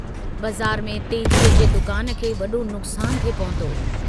बज़ार में तेजीअ जे दुकान खे वडो नुकसानु थे पहुतो।